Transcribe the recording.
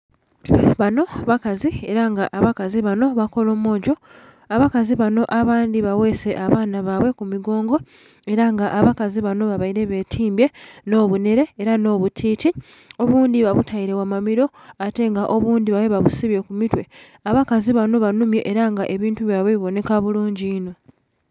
Bano bakazi ela nga abakazi bano bakolomojo. Abakazi bano abandhi bagheese abaana ku migongo ela nga abakazi bano babaile betimbye nh'obunhere ela nh'obutiiti. Obundhi babutaile gha mamilo ate nga obundhi babaile babusibye ku mitwe. Abazaki bano banhumye ela nga ebintu byaibwe bibonheka bulungi inho.